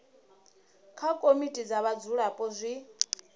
kha komiti dza vhadzulapo zwi